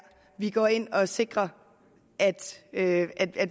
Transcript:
vi går ind og sikrer at